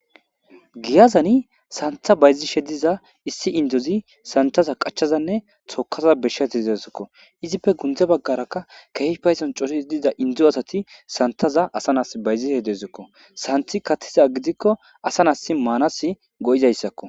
giyazani santha bayzishe diza issi indozi santaza qachazanne tokaza beshshatizeezikko izippe gunde baggarakka keefe payidon coridi diza indozo asati santaza asa nas bayzishe deezikko santhi kattiza gidikko asa nas maanas go'izayssakko